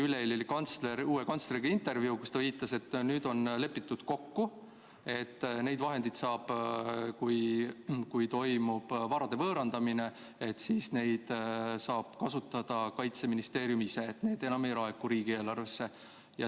Üleeile oli uue kantsleriga intervjuu, kus ta viitas, et nüüd on lepitud kokku, et kui toimub varade võõrandamine, siis neid saab kasutada Kaitseministeerium ise, need ei laeku enam riigieelarvesse.